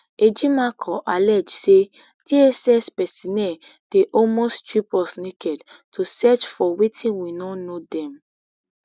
ejimakor allege say dss personnel dey almost strip us naked to search for wetin we no know dem